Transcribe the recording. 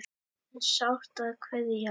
En sárt er að kveðja.